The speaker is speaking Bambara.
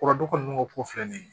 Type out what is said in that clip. O kɔrɔ don ko filɛ ni ye